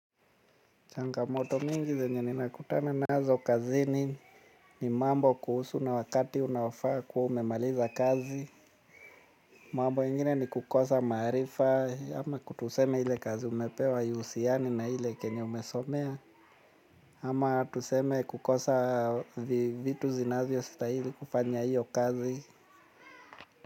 Changamoto mingi zenye ninakutana nazo kazini ni mambo kuhusu na wakati unaofaa kuwa umemaliza kazi. Mambo mengine ni kukosa maarifa ama tuseme ile kazi umepewa haihusiani na kile chenye umesomea. Ama tuseme kukosa vitu zinavyositahili kufanya hiyo kazi.